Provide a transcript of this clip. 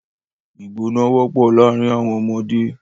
Ìgbọná wọ́pọ̀ láàrin àwọn ọmọdé.